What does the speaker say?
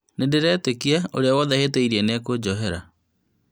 Nïndĩretĩkia ũria wothe hĩtĩirie nĩekũnjohera